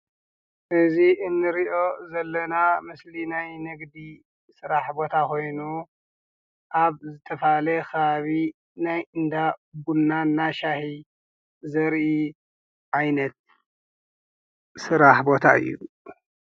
እዚ ኣንሪኦ ዘለና ምስሊ ናይ ንግዲ ስራሕ ቦታ ኮይኑ ኣብ ዝተፈላለየ ከባቢ ናይ እንዳ ቡና እና ሻሂ ዘርኢ ዓይነት ስራሕ ቦታ እዩ።